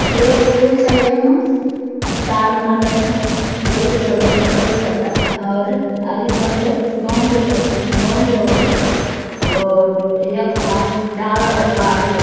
एक पुल छ य मा। इ तार नगा छ्यों वल्ला छ्योड़ बिटि पल्ला छ्योड़ तक और अगल बगल गौं बि बस अं गौं बि वख। गौट् यख वा डाला अर पहाड़ बि या।